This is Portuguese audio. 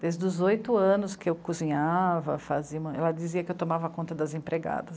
Desde os oito anos que eu cozinhava, fazia, ela dizia que eu tomava conta das empregadas.